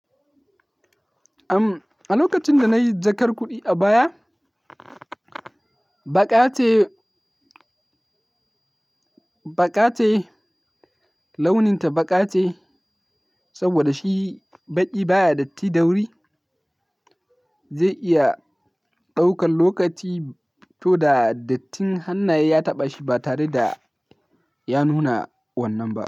Am, a lokacin da nayi jakar kuɗi a baya, baƙa ce, baƙa ce, launin ta baƙa ce. Saboda shi baƙi baya datti da wuri, zai iya ɗaukan lokaci to da dattin hannaye ya taɓa shi ba tare da ya nuna wannan ba.